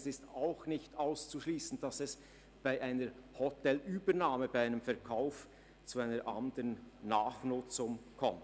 Es ist auch nicht auszuschliessen, dass es bei einer Hotelübernahme zu einer anderen Nachnutzung kommt.